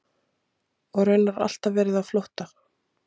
Og raunar alltaf verið á flótta.